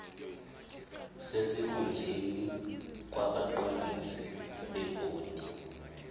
sesikhundleni kwabaqondisi bebhodi